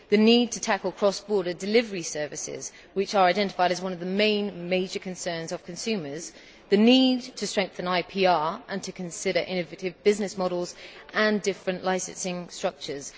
the need to tackle cross border delivery services, which are identified as one of the main major concerns of consumers the need to strengthen IPR and to consider innovative business models and different licensing structures